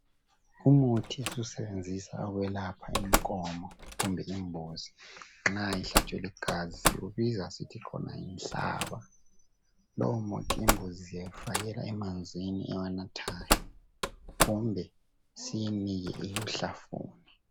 Umuthi esiwusenzisa ukwelapha inkomo kumbe zimbuzi nxa ihlatshiwe ligazi, ubiza yikuthi khona yinhlaba. Lomuthi imbuzi sizifakela amanzi ewanathayo kumbe siyinike ihlamvu.